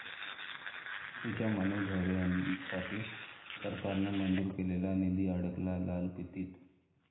ती'च्या मनोधैर्यासाठी सरकारने मंजूर केलेला निधी अडकला लालफितीत